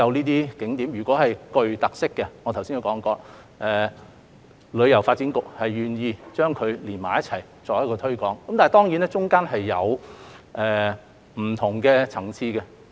如果景點具有特色，正如我剛才所說，旅發局是願意將這些景點連在一起作推廣的，但當中或會有不同的層次。